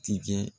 Tigɛ